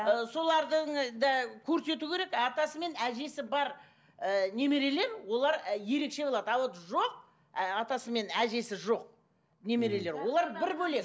ы солардың да көрсету керек атасы мен әжесі бар ы немерелер олар і ерекше болады а вот жоқ атасы мен әжесі жоқ немерелер олар бір бөлек